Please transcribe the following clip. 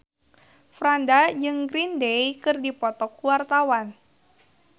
Franda jeung Green Day keur dipoto ku wartawan